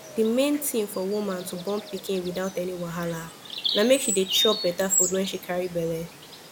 de main tin for woman to born pikin without any wahala na make she dey chop better food wen she carry belle